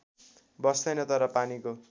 बस्दैन तर पानीको